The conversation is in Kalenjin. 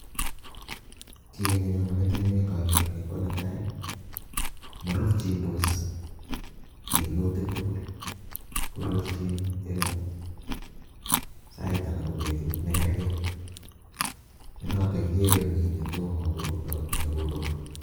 Kiiy ne nyonei metinyun inogeer ni ko netai, marurchindos minutik tugul, korurchin eng sait anan ko betut nekarkei, ko noto igeere mi ne tomo korur ak ne kokorur.